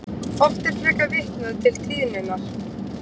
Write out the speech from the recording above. Oft er frekar vitnað til tíðninnar.